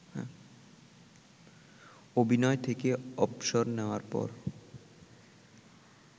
অভিনয় থেকে অবসর নেয়ার পর